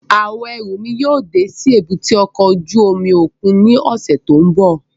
Awọn ẹru mi yóò de si èbúté ọkọ ojú omi okun ni ọsẹ ti n bọ